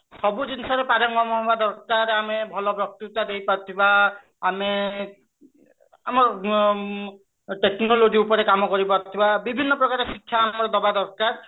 ଆଁ ସବୁ ଜିନିଷରେ ପାରଙ୍ଗମ ହବା ଦରକାର ଆମେ ଭଲ ବକ୍ତତା ଦେଇ ପାରୁଥିବା ଆମେ ଆମ technology ଉପରେ କାମ କରି ପାରୁଥିବା ବିଭିନ୍ନ ପ୍ରକାର ଶିକ୍ଷା ଆମର ଦବା ଦରକାର